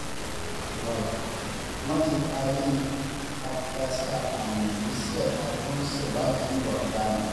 wọ́n ti taari àfúráṣí apààyàn yìí sí ẹ̀ka tó ń ṣèwádìí ìwà ọ̀daràn